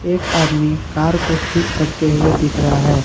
एक आदमी कार को ठीक करते हुए दिख रहा है।